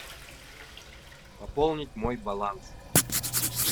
пополнить мой баланс